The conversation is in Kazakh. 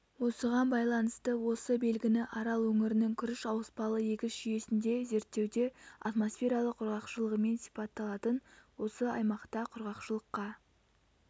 осыған байланысты осы белгіні арал өңірінің күріш ауыспалы егіс жүйесінде зерттеуде атмосфералық құрғақшылығымен сипатталатын осы аймақта құрғақшылыққа